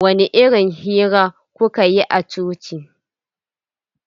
Wani irin hira kuka yi a coci?